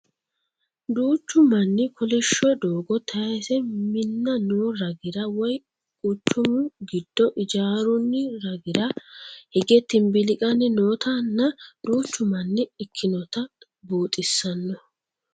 Duuchu manni kolishsho doogo taause minna noo ragira woy quchumu giddo ijaaroonni ragira hige timbiliqanni noota nna duucha manna ikkinota buuxisanno.